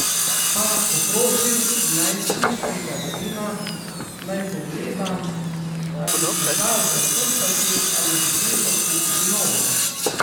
Pa poprosim najstniškega sina, naj pogleda, ali se da zakrpati ali bo treba kupiti novo.